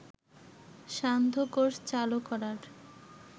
সান্ধ্য কোর্স চালু করার